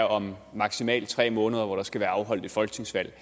om maksimalt tre måneder hvor der skal være afholdt et folketingsvalg